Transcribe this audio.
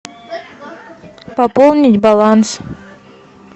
пополнить баланс